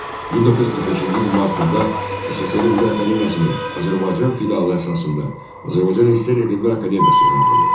1945-ci ilin martında SSR Elmlər Akademiyasının Azərbaycan filialı əsasında Azərbaycan SSR Elmlər Akademiyası yaradıldı.